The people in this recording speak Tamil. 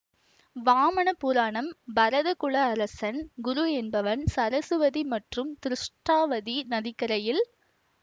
வாமண புராணம் பரத குல அரசன் குரு என்பவன் சரசுவதி மற்றும் திருஷ்டாவதி நதிக்கரையில்